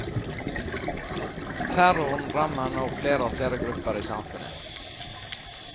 Terroren rammer nå flere og flere grupper i samfunnet.